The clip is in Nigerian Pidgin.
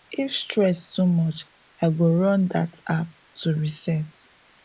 if stress too much i go run that app to reset